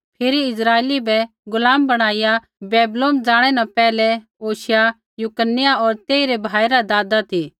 फिरी इस्राइली बै गुलाम बणाईया बैबीलोन ज़ाणै न पैहलै योशिय्याह यकुन्याह होर तेइरै भाई रा दादा ती